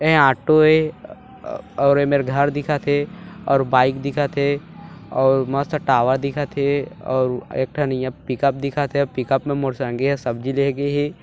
एह ऑटो ए आ-आ और ये मेर घर दिखत हे और बाइक दिखत हे और मस्त टावर दिखत हे और एक ठन यहाँ पे पिकप दिखत हे और पिकप मे मोर संगी हा सब्जी लेहे गेहे।